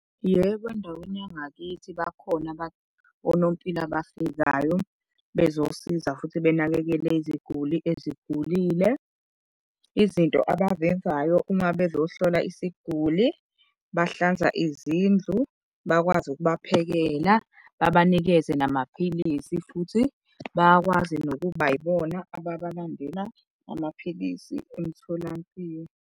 Yebo, endaweni yangakithi bakhona onompilo abafikayo bezosiza futhi benakekele iziguli ezikhulile. Izinto abazenzayo uma bazohlola isiguli behlanza izindlu, bakwazi ukuba ephekela, babanikeze namaphilisi futhi bayakwazi nokuba yibona ababalandela amaphilisi emtholampilo.